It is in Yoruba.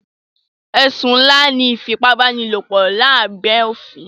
Ẹ̀sùn ńlá ní ìfipábánilòpọ̀ lábé òfin.